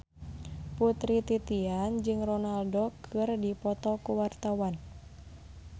Putri Titian jeung Ronaldo keur dipoto ku wartawan